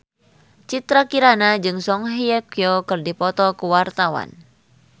Citra Kirana jeung Song Hye Kyo keur dipoto ku wartawan